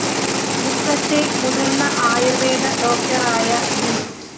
മുക്കത്തെ മുതിര്‍ന്ന ആയുര്‍വേദ ഡോക്ടറായ വി